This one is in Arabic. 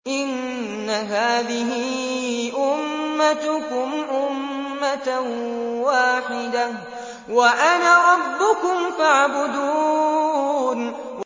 إِنَّ هَٰذِهِ أُمَّتُكُمْ أُمَّةً وَاحِدَةً وَأَنَا رَبُّكُمْ فَاعْبُدُونِ